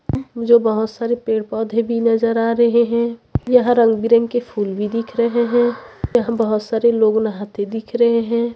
जो बहोत सारे पेड़-पौधे भी नज़र आ रहे है यह रंग-बिरंगे के फूल भी दिख रहे है यहाँ बहोत सारे लोग नहाते दिख रहे है।